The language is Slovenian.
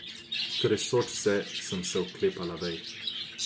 Tresoč se sem se oklepala vej.